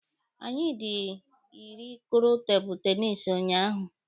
Anyị dị iri kụrụ tebụlụ tenisi ụnyaahụ.